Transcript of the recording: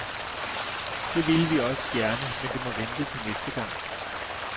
Det ville vi også gerne, men det må vente til næste gang.